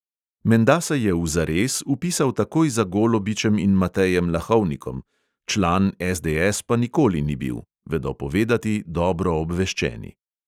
Menda se je v zares vpisal takoj za golobičem in matejem lahovnikom, član SDS pa nikoli ni bil, vedo povedati dobro obveščeni.